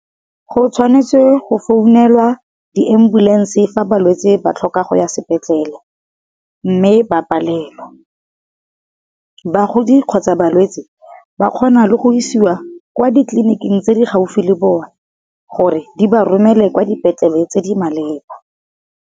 Go tshwanetse go founelwa di ambulense fa balwetse ba tlhoka go ya sepetlele, mme ba palelwa bagodi kgotsa balwetse, ba kgona le go isiwa kwa ditleliniking tse di gaufi le bone gore di ba romele kwa dipetlele tse di maleba.